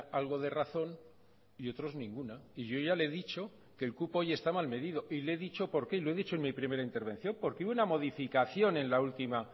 algo de razón y otros ninguna y yo ya le he dicho que el cupo hoy está mal medido y le he dicho por qué lo he dicho en mi primera intervención porque hubo una modificación en la última